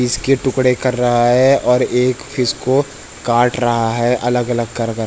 fish के टुकड़े कर रहा है और एक फिश को काट रहा है अलग-अलग कर कर --